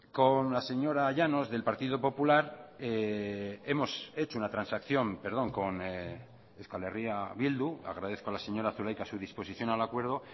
con la señora llanos del partido popular hemos hecho una transacción perdón con euskal herria bildu agradezco a la señora zulaika su disposición al acuerdo